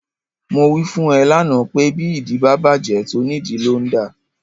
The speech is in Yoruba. Mo wí fún ẹ lánàá pé bí ìdí bá bàjẹ́, tónìdìí ló ń dà.